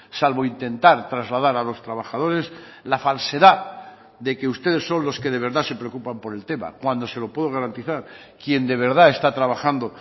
salvo intentar trasladar a los trabajadores la falsedad de que ustedes son los que de verdad se preocupan por el tema cuando se lo puedo garantizar quien de verdad está trabajando